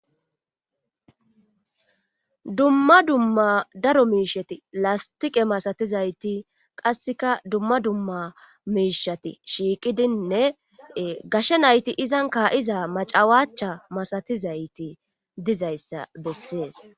dumma dumma daro miishati lastiqe masatizayti qasseka dumma dumma miishati shiiqidinne gashe nayti izan kaayiza macawaacha masatizayti dizayssa bessees